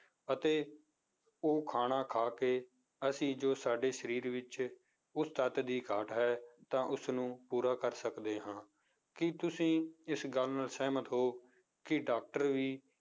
ਅਤੇ ਉਹ ਖਾਣਾ ਖਾ ਕੇ ਅਸੀਂ ਜੋ ਸਾਡੇ ਸਰੀਰ ਵਿੱਚ ਉਸ ਤੱਤ ਦੀ ਘਾਟ ਹੈ ਤਾਂ ਉਸਨੂੰ ਪੂਰਾ ਕਰ ਸਕਦੇੇ ਹਾਂ ਕੀ ਤੁਸੀਂ ਇਸ ਗੱਲ ਨਾਲ ਸਹਿਮਤ ਹੋ ਕਿ doctor ਵੀ